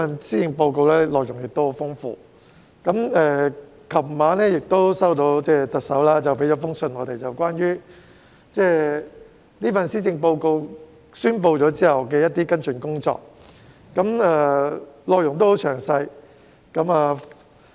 施政報告的內容十分豐富，而我們昨晚亦接獲特首向我們發出的信件，內容關於在宣布施政報告後的一些跟進工作，十分詳細。